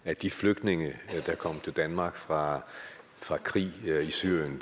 at de flygtninge der er kommet til danmark fra fra krigen i syrien